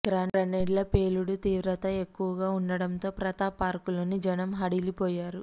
గ్రనేడ్ల పేలుడు తీవ్రత ఎక్కువగా ఉండటంతో ప్రతాప్ పార్కులోని జనం హడలిపోయారు